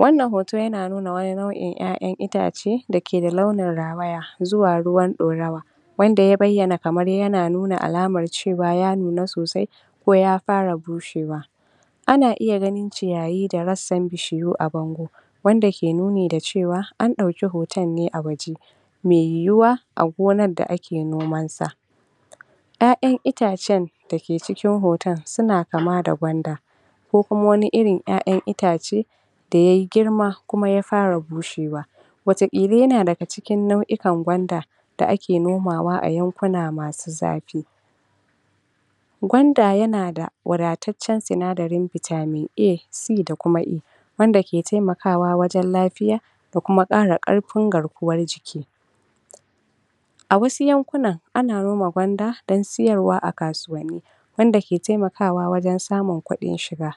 Wannan hoto yana nuna wani nau'in yayan itace da ke launin rawaya zuwa ruwan dorawa wanda ya bayyana kamar yana nuna alaman cewa ya nuna sosai ko ya fara bushewa. Ana iya ganin ciyayi da rassan shi duk a bango wanda ya ke nuni da cewa an dauki hoton ne a wajen, mai yiwuwa a gonan da ake nomanta. ƴayan itacen da ake nomanta suna kama da gwanda ko kuma wani irin yayan itace da yayi girma kuma ya fara bushewa watakila yana daga cikin nau'ikan gwanda da ake nomawa a yankunan zafi. Gwanda yana da wadataccen sinadarin vitamin A, C da kuma E Wanda ke taimakawa wajen lafiya da kuma kara karfin garkuwan jiki. A wassu yankunan ana noma gwanda dan sayarwa a kasuwanni wanda ke taimakawa wajen samun kuɗin shiga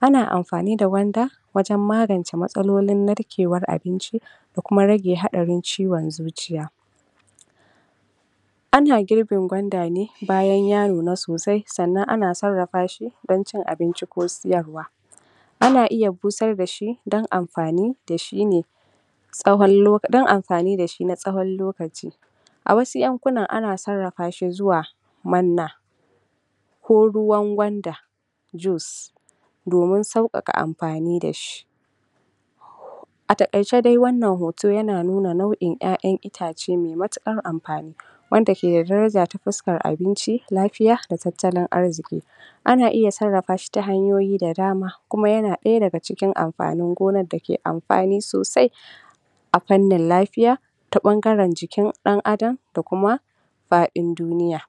Ana amfani da gwanda wajen magance matsaalolin narkewan abinci da kuma rage hadarin ciwon zuciya. Ana girbin gwanda ne bayan ya nuna sosai sannan ana sarrafa shi dan cin abinci ko sayarwa. Ana iya busar da shi dan amfani da shi ne dan amfani mai tsawon lokaci. A wassu yankunan ana sarrafa shi zuwa manna ko ruwan gwanda juice domin saukaka amfani da shi. A takaice dai wannan hoto yana nuna nau'in yayan itace mai matukar amfani wanda ke da daraja ta fuskar abinc lafiyai da tattalin arziki. Ana iya sarrafa shi ta hanyoyi da dama kuma yana daya daga cikin amfanin gonan da ke amfani sosai a fannin lafiya ta bangagaren jikin Dan Adam da kuma fadin duniya.